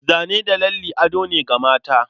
Zane da lalle ado ne ga mata.